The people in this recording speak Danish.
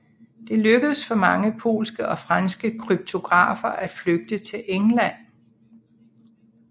Det lykkedes for mange polske og franske kryptografer at flygte til England